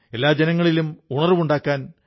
അവരുടെ ഉള്ളിൽ ആശയും വിശ്വാസവും നിറയ്ക്കുന്നു